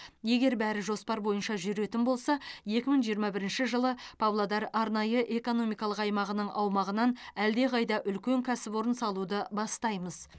егер бәрі жоспар бойынша жүретін болса екі мың жиырма бірінші жылы павлодар арнайы экономикалық аймағының аумағынан әлдеқайда үлкен кәсіпорын салуды бастаймыз